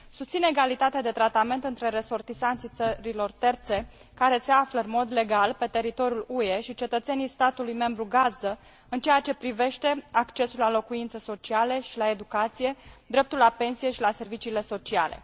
Susțin egalitatea de tratament între resortisanții țărilor terțe care se află în mod legal pe teritoriul UE și cetățenii statului membru gazdă în ceea ce privește accesul la locuințe sociale și la educație, dreptul la pensie și la serviciile sociale.